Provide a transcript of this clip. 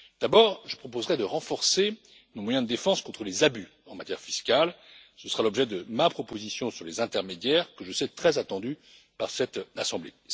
Premièrement, je proposerai de renforcer nos moyens de défense contre les abus en matière fiscale ce sera l'objet de ma proposition sur les intermédiaires, que je sais très attendue par cette assemblée.